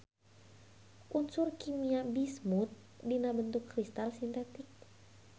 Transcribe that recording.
Unsur kimia bismut dina bentuk kristal sintetik.